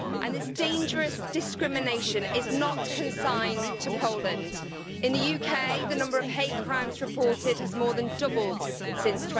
This dangerous discrimination is not consigned to Poland. In the UK, the number of hate crimes reported has more than doubled since